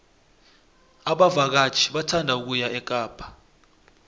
abavakatjhi bathanda ukuya ekapa